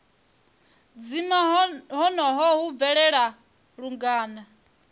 dzima honoho hu bvelela lungana